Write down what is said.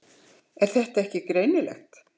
Er það ekki greinilegt?